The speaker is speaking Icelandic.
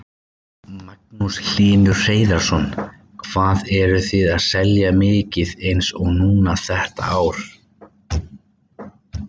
Magnús Hlynur Hreiðarsson: Hvað eruð þið að selja mikið eins og núna þetta ár?